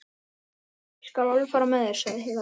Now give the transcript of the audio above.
Ég skal alveg fara með þér, sagði Heiða lágt.